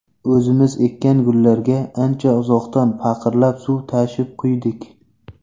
O‘zimiz ekkan gullarga, ancha uzoqdan paqirlab suv tashib quydik.